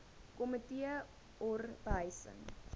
komitee or behuising